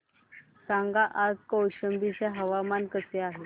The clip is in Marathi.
सांगा आज कौशंबी चे हवामान कसे आहे